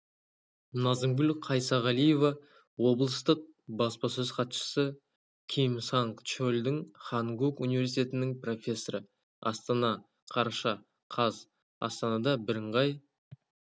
назымгүл қайсағалиева облыстық баспасөз хатшысы ким санг чхоль хангук университетінің профессоры астана қараша қаз астанада бірыңғай